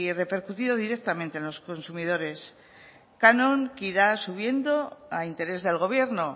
repercutido directamente a los consumidores canon que irá subiendo a interés del gobierno